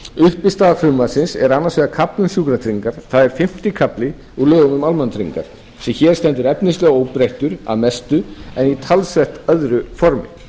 uppistaða frumvarpsins er annars vegar kafli um sjúkratryggingar það er fimmti kafli úr lögum um almannatryggingar sem hér stendur efnislega óbreyttur að mestu en í talsvert öðru formi